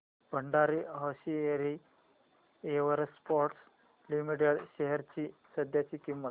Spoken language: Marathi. Bhandari hosiery exports limited shares ची सध्याची किंमत